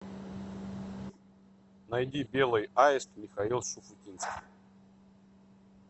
найди белый аист михаил шуфутинский